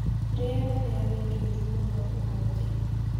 Rĩera rĩarĩ rĩũru mũno ũmũthĩ